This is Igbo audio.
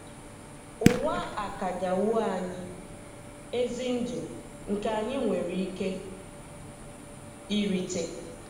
Ụwa akanya wo anyị "ezi ndụ" nke anyị nwere ike irite.